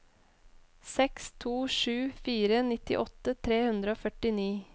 seks to sju fire nittiåtte tre hundre og førtini